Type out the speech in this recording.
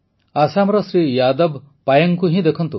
ଆସାମର ଶ୍ରୀ ଯାଦବ ପାୟେଙ୍ଗଙ୍କୁ ହିଁ ଦେଖନ୍ତୁ